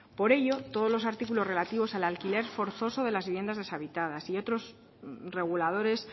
por ello todos los artículos relativos al alquiler forzoso de las viviendas deshabitadas y otros reguladores